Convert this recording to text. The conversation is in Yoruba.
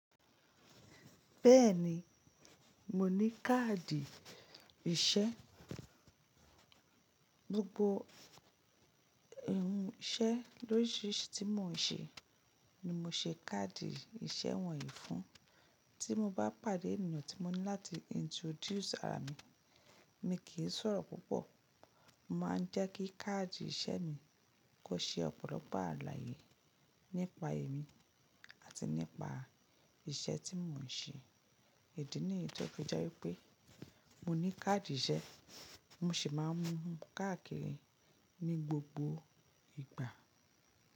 Bẹ́ẹ̀ni, mo ní káàdì iṣẹ́. Gbogbo irun iṣẹ́ lorisiri tí mò ń ṣe ni mo ṣe káàdì iṣẹ́ wọ̀nyí fún. Tí mo bá pàdé ènìyàn tí mo ní láti introduce ara mi, mi kì í sọ̀rọ̀ púpọ̀. Mo máa ń jẹ́ kí káàdì iṣẹ́ mi kó ṣe ọ̀pọ̀lọpọ̀ àlàyé nípa èmi àti nípa iṣẹ́ tí mò ń ṣe. Ìdí níyi to fi jẹ́ wípé mo ní káàdì iṣẹ́, mo sì máa ń mú un káàkiri ní gbogbo ìgbà.